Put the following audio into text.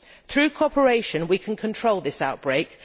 Through cooperation, we can control this outbreak.